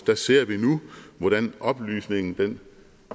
ser vi nu hvordan oplysningen